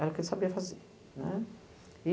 Era o que ele sabia fazer, né. E